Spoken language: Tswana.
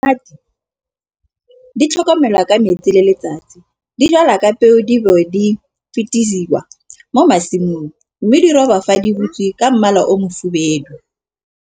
Ditamati di tlhokomelwa ka metsi le letsatsi. Di jalwa ka peo di mo masimong mme di roba fa di butswe ka mmala o mofubedu.